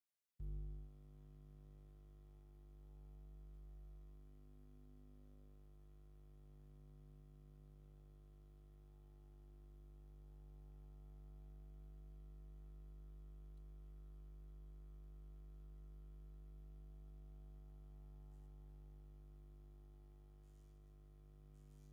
እዚ ካብ ዕንጨይቲ ዝተሰርሐ፡ ሰለስተ ደረጃ ዘለዎ፡ ዝዕጸፍ ደረጃ መሳልል ይረአ ኣሎ። ብጸጋም ኣብ ክፉት ኣቀማምጣ ክርአ እንከሎ፡ ብየማን ድማ ኣዝዩ ትኽ ዝበለ ኣቀማምጣ ኮይኑ ይርአ። እዚ ኣብዚ ዝረአ ዘሎ ንምንታይ ከምዝውዕል ክትነግረኒ ትኽእል ዲኻ?